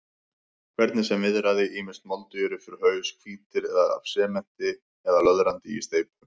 Hvernig sem viðraði, ýmist moldugir upp fyrir haus, hvítir af sementi eða löðrandi í steypu.